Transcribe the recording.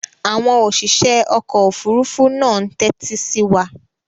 Àwọn òṣìṣẹ́ ọkọ̀-òfurufú náà ń tẹ́tí sí wa.